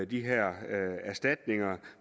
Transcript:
de her erstatninger